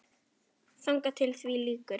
Þangað til því lýkur.